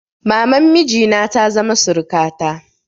Maman miji na ta zama surukata.